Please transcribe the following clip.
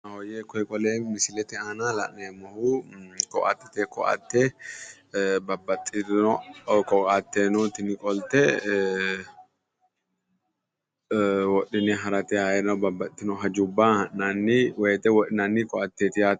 Mawooyye koye qole misilete aana la'neemmohu ko"attete ko"atte babbaxxitino ko"atte no tini qolte wodhine harate ayiino babbaxxitino hajubba ha'nanni woyiite wodhinanni ko"attubbaati yaate.